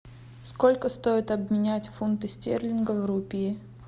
сколько стоит обменять фунты стерлингов в рупии